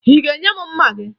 Ị ga-enye m mma gị?